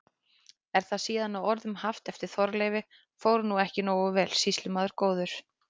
Er það síðan að orðum haft eftir Þorleifi: Fór nú ekki nógu vel, sýslumaður góður?